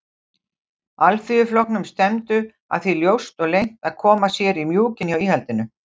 Alþýðuflokknum stefndu að því ljóst og leynt að koma sér í mjúkinn hjá íhaldinu.